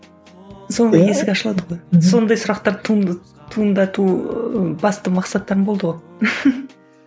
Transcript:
сонда есік ашылады ғой сондай сұрақтар туындату басты мақсаттарың болды ғой